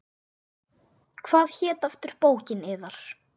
Hvað hét aftur bókin yðar?